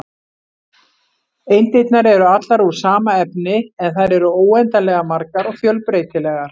Eindirnar eru allar úr sama efni, en þær eru óendanlega margar og fjölbreytilegar.